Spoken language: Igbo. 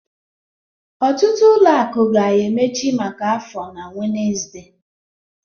Ọtụtụ ụlọ akụ ga-emechi maka afọ na Wednesde